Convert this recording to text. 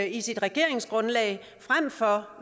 i sit regeringsgrundlag frem for